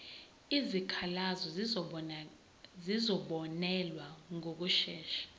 izikhalazo zizobonelelwa ngokushesha